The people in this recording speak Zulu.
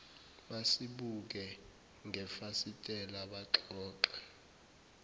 basibuke ngefasitela baxoxa